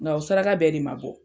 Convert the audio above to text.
Nga o saraka bɛɛ de ma bɔ.